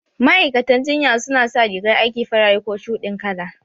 Ma'aikatan jinya su na sa rigar aiki farare ko shuɗin kala